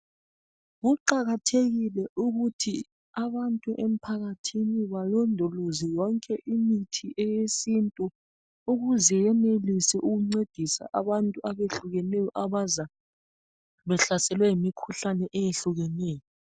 Kuqakathekile ukuthi abantu emphakathini balondoloze yonke imithi eyesintu ukuze yenelise ukuncedisa abantu abehlukeneyo abaza behlaselwe yimikhuhlane eyehlukeneyo